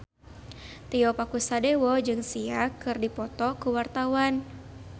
Tio Pakusadewo jeung Sia keur dipoto ku wartawan